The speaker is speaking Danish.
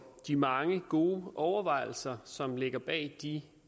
de mange gode overvejelser som ligger bag de